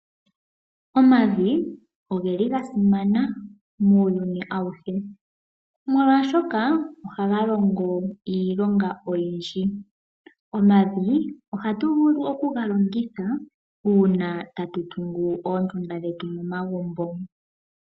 Omavi oga simana muuyuni awuhe, molwaashoka ohaga longo iilonga oyindji. Omavi ohatu vulu okuga longitha uuna tatu tungu oondunda dhetu momagumbo.